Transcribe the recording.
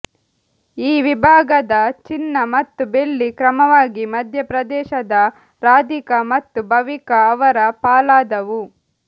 ಈ ವಿಭಾಗದ ಚಿನ್ನ ಮತ್ತು ಬೆಳ್ಳಿ ಕ್ರಮವಾಗಿ ಮಧ್ಯಪ್ರದೇಶದ ರಾಧಿಕಾ ಮತ್ತು ಭವಿಕಾ ಅವರ ಪಾಲಾದವು